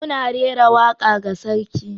Muna rera waka ga sarki.